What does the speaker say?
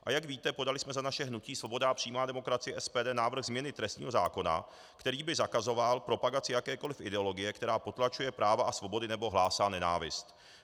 A jak víte, podali jsme za naše hnutí Svoboda a přímá demokracie, SPD, návrh změny trestního zákona, který by zakazoval propagaci jakékoli ideologie, která potlačuje práva a svobody nebo hlásí nenávist.